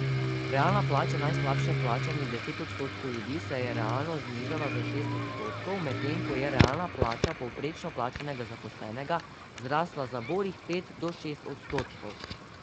Realna plača najslabše plačanih deset odstotkov ljudi se je realno znižala za šest odstotkov, medtem ko je realna plača povprečno plačanega zaposlenega zrasla za borih pet do šest odstotkov.